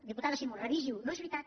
diputada simó revisi ho no és veritat